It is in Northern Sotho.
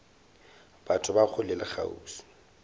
batho ba kgole le kgauswi